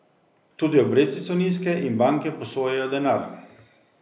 Tudi obresti so nizke in banke posojajo denar.